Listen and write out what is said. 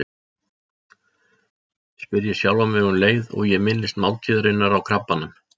spyr ég sjálfan mig um leið og ég minnist máltíðarinnar á Krabbanum.